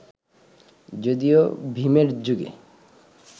যদিও ভিমের যুগে